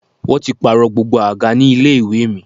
Wọ́n ti pààrọ̀ gbogbo àga ní ilé ìwé mi